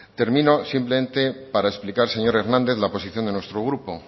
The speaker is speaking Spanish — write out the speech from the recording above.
termino simplemente para explicar señor hernández la posición de nuestro grupo